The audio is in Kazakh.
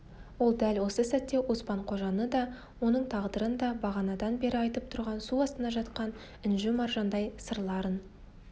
ол дәл осы сәтте оспан-қожаны да оның тағдырын да бағанадан бері айтып тұрған су астында жатқан інжу-маржандай сырларын